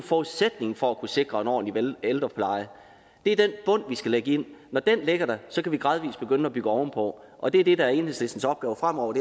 forudsætningen for at kunne sikre en ordentlig ældrepleje er den bund vi skal lægge ind når den ligger der kan vi gradvis begynde at bygge ovenpå og det er det der er enhedslistens opgave fremover